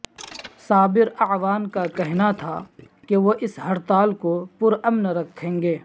صابر اعوان کا کہنا تھا کہ وہ اس ہڑتال کو پرامن رکھیں گے